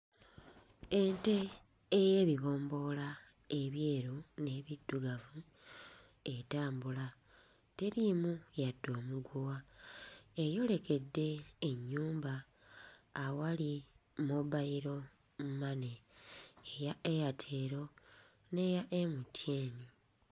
Ente ey'ebibomboola ebyeru n'ebiddugavu etambula, teriimu yadde omuguwa, eyolekedde ennyumba awali Mobile Money eya Airtel n'eya MTN.